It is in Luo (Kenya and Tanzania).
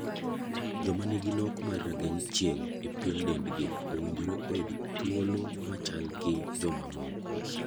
Joma nigi nok mar rangeng' chieng' e pien dendgi owinjore oyud oyud thulo mocha gi joma moko.